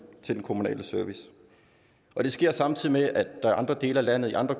kommunale service og det sker samtidig med at man i andre dele af landet i andre